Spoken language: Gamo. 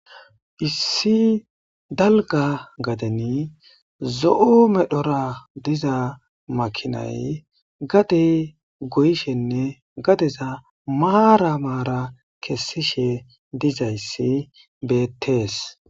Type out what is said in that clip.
Issi daliga gadeni zo'o medhora diza makinay gade goyishenee gadeza maran maran kesishe dizayis betes